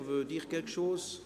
– Das ist nicht der Fall.